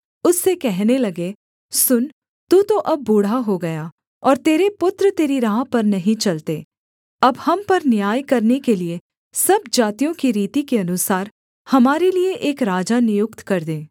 उससे कहने लगे सुन तू तो अब बूढ़ा हो गया और तेरे पुत्र तेरी राह पर नहीं चलते अब हम पर न्याय करने के लिये सब जातियों की रीति के अनुसार हमारे लिये एक राजा नियुक्त कर दे